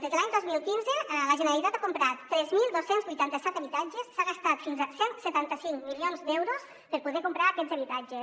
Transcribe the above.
des de l’any dos mil quinze la generalitat ha comprat tres mil dos cents i vuitanta set habitatges s’ha gastat fins a cent i setanta cinc milions d’euros per poder comprar aquests habitatges